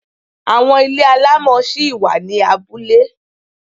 Àwọn ilé alámọ̀ ṣí wà ni abúlé.